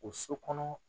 O so kɔnɔ